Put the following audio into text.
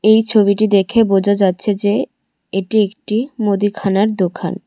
এই ছবিটি দেখে বোঝা যাচ্ছে যে এটি একটি মুদিখানার দোকান।